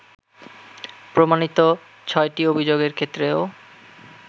প্রমাণিত ছয়টি অভিযোগের ক্ষেত্রেও